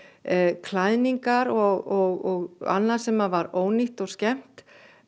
klæðningar og annað sem var ónýtt og skemmt